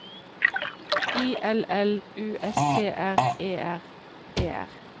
I L L U S T R E R E R